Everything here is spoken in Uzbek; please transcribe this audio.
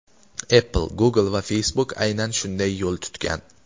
Apple, Google va Facebook aynan shunday yo‘l tutgan.